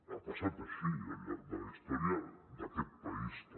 ha passat així al llarg de la història d’aquest país també